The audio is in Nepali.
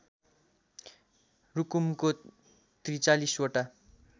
रुकुमको ४३ वटा